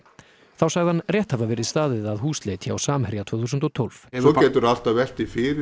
þá sagði hann rétt hafa verið staðið að húsleit hjá Samherja tvö þúsund og tólf svo geturðu alltaf velt því fyrir